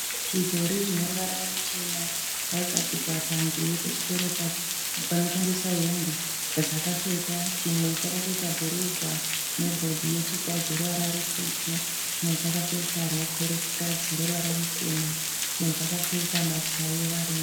Zvidhori zvine ruvara ruchena zvakagadzikwa panze pechitoro panotengeswa hembe yadzakapfeka. Chimwe chakapfeka bhurugwa nebhodhi yechikadzi yeruvara rutsvuku . Chimwe chakapfeka rokwe rechikadzi yeruvara ruchena. Chimwe chakapfeka mbatya yevarume.